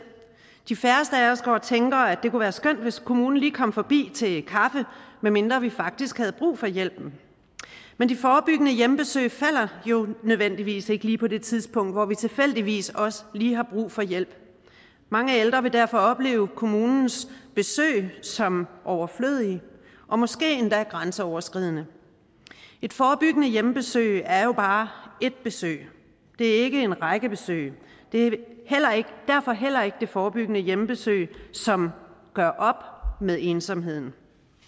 de færreste af os går og tænker at det kunne være skønt hvis kommunen lige kom forbi til kaffe medmindre vi faktisk havde brug for hjælp men de forebyggende hjemmebesøg falder jo nødvendigvis ikke lige på det tidspunkt hvor vi tilfældigvis også lige har brug for hjælp mange ældre vil derfor opleve kommunens besøge som overflødige og måske endda grænseoverskridende et forebyggende hjemmebesøg er jo bare et besøg det er ikke en række besøg det er derfor heller ikke det forebyggende hjemmebesøg som gør op med ensomheden